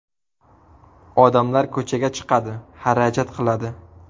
Odamlar ko‘chaga chiqadi, xarajat qiladi.